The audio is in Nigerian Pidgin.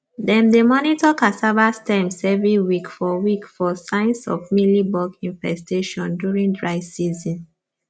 dem dey monitor cassava stems every week for week for signs of mealybug infestations during dry season